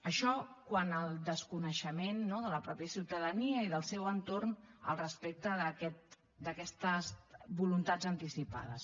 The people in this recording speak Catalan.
això quant al desconeixement de la mateixa ciutadania i del seu entorn al respecte d’aquestes voluntats anticipades